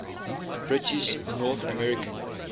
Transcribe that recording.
british north american